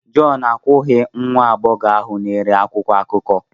John akwụghị nwa agbọghọ ahụ na-ere akwụkwọ akụkọ.